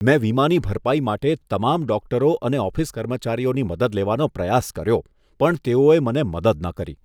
મેં વીમાની ભરપાઈ માટે તમામ ડોક્ટરો અને ઓફિસ કર્મચારીઓની મદદ લેવાનો પ્રયાસ કર્યો. પણ તેઓએ મને મદદ ન કરી.